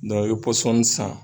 i ye pɔsɔn san.